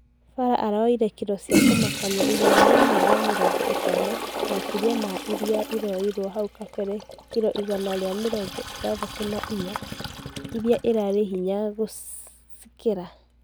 Farah araoire kiro cia kũmakania igana rĩmwe rĩa mĩrongo itano makeria ma iroirwo hau kabere kiro igana ria mirongo ithathatũ na inya, ĩria irarĩ hinya kũcikeria